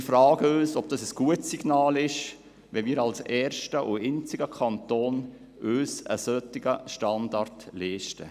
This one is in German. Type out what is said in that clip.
Wir fragen uns, ob es ein gutes Signal ist, wenn wir uns als erster und einziger Kanton einen solchen Standard leisten.